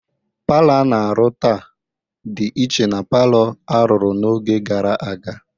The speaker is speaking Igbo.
Palọ a na-arụ taa dị iche na palọ a rụrụ n'oge gara aga.